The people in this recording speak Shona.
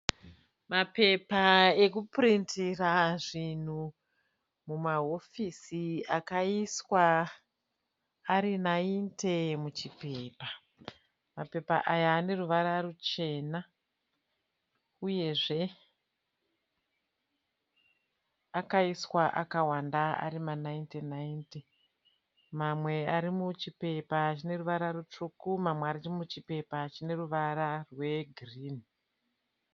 Mapepa ekupirindira zvinhu mumahofisi akaiswa ari naite muchipepa. Mapepa aya ane ruvara ruchena uyezve akaiswa akawanda ari manaite naite. Mamwe ari muchipepa chine ruvara rutsvuku mamwe ari muchipepa chine ruvara rwegirinhi.